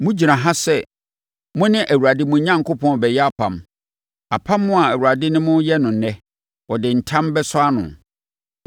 Mogyina ha sɛ mo ne Awurade, mo Onyankopɔn, rebɛyɛ apam, apam a Awurade ne mo reyɛ ɛnnɛ. Ɔde ntam bɛsɔ ano,